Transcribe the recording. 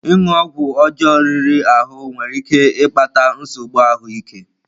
Ịṅụ ọgwụ ọjọọ riri ahụ nwere ike ịkpata nsogbu ahụ ike.